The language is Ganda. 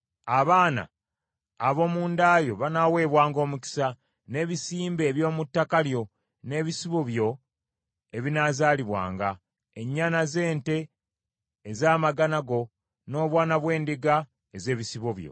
Abaana ab’omu nda yo banaaweebwanga omukisa, n’ebisimbe eby’omu ttaka lyo, n’ebisibo byo ebinaazaalibwanga, Ennyana z’ente ez’amagana go, n’obwana bw’endiga ez’ebisibo byo.